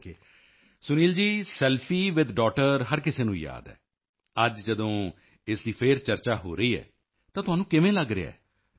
Sunil ji selfie with daughter selfie with daughter ਹਰ ਕਿਸੇ ਨੂੰ ਯਾਦ ਹੈ ਅੱਜ ਜਦੋਂ ਇਸ ਦੀ ਫਿਰ ਚਰਚਾ ਹੋ ਰਹੀ ਹੈ ਤਾਂ ਤੁਹਾਨੂੰ ਕਿਵੇਂ ਲੱਗ ਰਿਹਾ ਹੈ